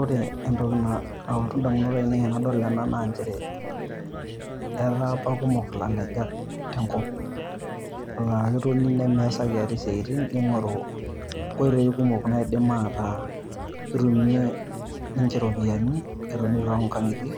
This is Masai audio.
Ore entoki nalotu idamunot ainei tenadol ena naa nchere, etaa apa Kumok ilalejak tenkop elaa keitoni nemeesaki ate isiatin netoni aaku ilalejak loidim ataa ketumie ninche iropiyiani tolong'ang'itie